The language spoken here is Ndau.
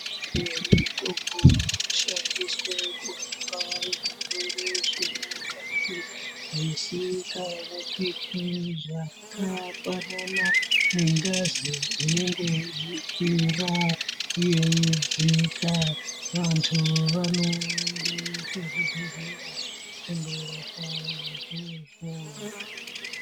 Michini mitombo inokone kurape zvirwere vemukati zvisingaoneki zvakafanana nengazi inenge yeikwira, yeidzika. Vanhu vanoenda kuzvibhedhlera kundorapwa izvozvo.